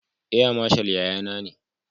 Air mashal yayana ne.